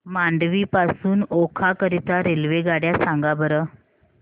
मांडवी पासून ओखा करीता रेल्वेगाड्या सांगा बरं